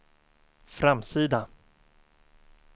framsida